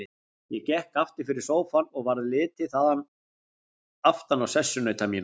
Ég gekk aftur fyrir sófann og varð litið þaðan aftan á sessunauta mína.